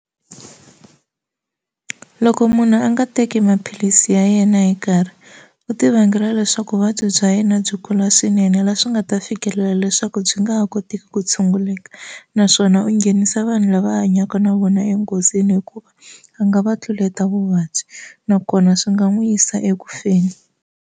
Loko munhu a nga teki maphilisi ya yena hi nkarhi u ti vangela leswaku vuvabyi bya yena byi kula swinene laha swi nga ta fikelela leswaku byi nga ha kotiki ku tshunguleka naswona u nghenisa vanhu lava hanyaka na vona enghozini hikuva a nga va tluleta vuvabyi nakona swi nga n'wi yisa eku feni.